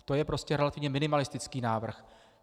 To je prostě relativně minimalistický návrh.